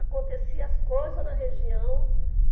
Aconteciam as coisas na região.